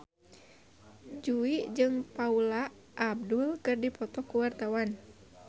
Jui jeung Paula Abdul keur dipoto ku wartawan